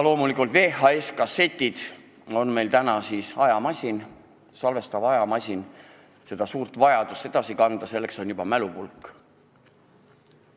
Loomulikult on VHS-kassettide asemel nüüd juba salvestav ajamasin ja kui on vajadus suurt mahtu edasi kanda, siis selleks on mälupulk.